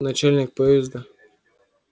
начальник поезда